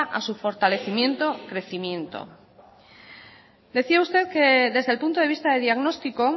a su fortalecimiento y crecimiento decía usted que desde el punto de vista de diagnóstico